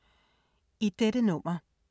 I dette nummer